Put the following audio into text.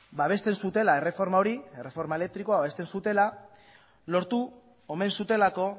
babesten zutela erreforma hori erreforma elektrikoa babesten zutela lortu omen zutelako